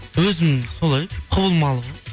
өзім солай құбылмалы ғой